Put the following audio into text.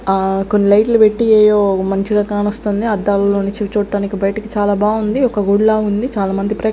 ఆ కొన్ని లైట్ లు పెట్టి మంచిగా కనాస్తుంది అద్దాలలో నుంచి చూట్టానికి బయటికి చాలా బాగుంది ఒక గుడి ల ఉంది చాలా మంది ప్రే--